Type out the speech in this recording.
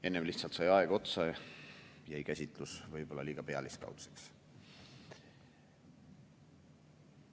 Enne lihtsalt sai aeg otsa ja jäi käsitlus võib-olla liiga pealiskaudseks.